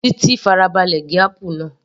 Titi farabalẹ̀ gé apple náà